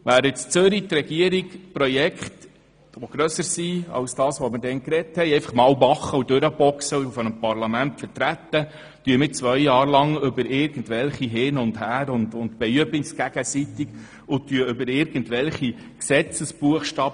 Während in Zürich die Regierung Projekte, die grösser sind als diejenigen, um die es bei uns geht, einfach anpackt und vor dem Parlament vertritt, diskutieren wir zwei Jahre lang hin und her, beüben uns gegenseitig und verhandeln über tote Buchstaben.